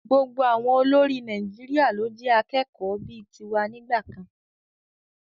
Gbogbo àwọn olórí Nàìjíríà ló jẹ́ akẹ́kọ̀ọ́ bíi ti wa nígbà kan.